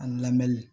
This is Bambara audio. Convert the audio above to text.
An lamɛni